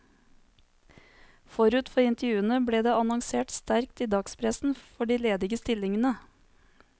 Forut for intervjuene ble det annonsert sterkt i dagspressen for de ledige stillingene.